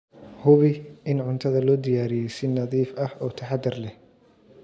Hubi in cuntada loo diyaariyey si nadiif ah oo taxadar leh.